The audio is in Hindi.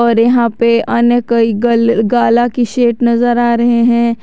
और यहां पे अन्य कई गल गाला की सेट नजर आ रहे हैं।